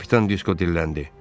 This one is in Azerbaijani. Kapitan Disko dilləndi.